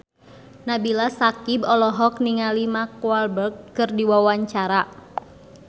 Nabila Syakieb olohok ningali Mark Walberg keur diwawancara